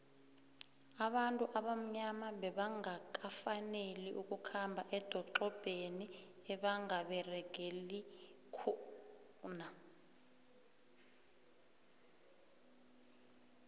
abantu abamnyama bebanqakafaneli bakhambe edoxobheni ebonqaberegelikhuna